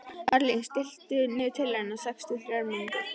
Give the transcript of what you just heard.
Marlín, stilltu niðurteljara á sextíu og þrjár mínútur.